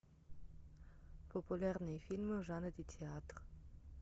популярные фильмы в жанре театр